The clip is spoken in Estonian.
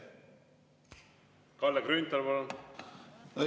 Kalle Grünthal, palun!